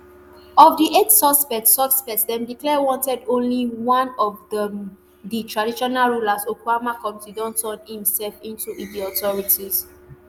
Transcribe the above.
of di eight suspects suspects dem declare wanted only one of dem di traditional ruler of okuama community don turn imsef in to di authorities